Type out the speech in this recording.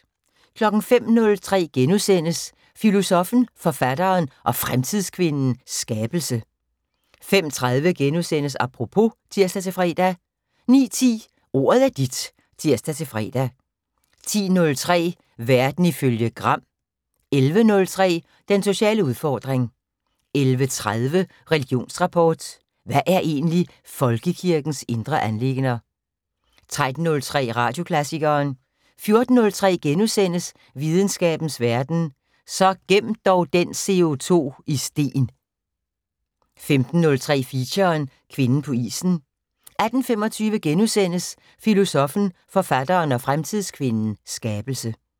05:03: Filosoffen, Forfatteren og Fremtidskvinden - Skabelse * 05:30: Apropos *(tir-fre) 09:10: Ordet er dit (tir-fre) 10:03: Verden ifølge Gram 11:03: Den sociale udfordring 11:30: Religionsrapport: Hvad er egentlig folkekirkens indre anliggender? 13:03: Radioklassikeren 14:03: Videnskabens Verden: Så gem dog den CO2 i sten * 15:03: Feature: Kvinden på isen 18:25: Filosoffen, Forfatteren og Fremtidskvinden - Skabelse *